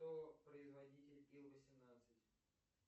кто производитель ил восемнадцать